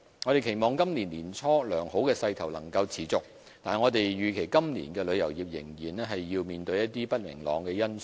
我們期望今年年初的良好勢頭能夠持續，但預期今年旅遊業仍要面對一些不明朗的因素。